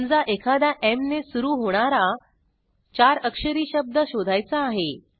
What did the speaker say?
समजा एखादा Mने सुरू होणारा 4 अक्षरी शब्द शोधायचा आहे